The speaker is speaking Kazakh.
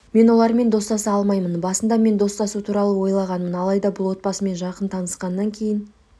мен олармен достаса алмаймын басында мен достасу туралы ойлағанмын алайда бұл отбасымен жақын танысқаннан кейін